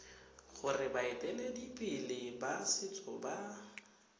gore baeteledipele ba setso ba